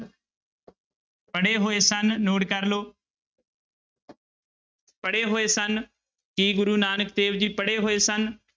ਪੜ੍ਹੇ ਹੋਏ ਸਨ note ਕਰ ਲਓ ਪੜ੍ਹੇ ਹੋਏ ਸਨ, ਕੀ ਗੁਰੂ ਨਾਨਕ ਦੇਵ ਜੀ ਪੜ੍ਹੇ ਹੋਏ ਸਨ?